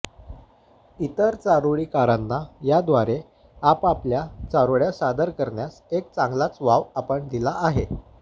इतर चारोळीकारांना याद्वारे आपापल्या चारोळ्या सादर करण्यास एक चांगलाच वाव आपण दिला आहे